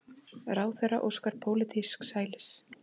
Ráðherra óskar pólitísks hælis